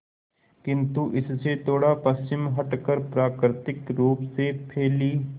किंतु इससे थोड़ा पश्चिम हटकर प्राकृतिक रूप से फैली